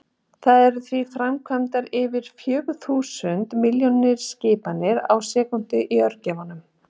Það eru því framkvæmdar yfir fjögur þúsund milljón skipanir á sekúndu í örgjörvanum!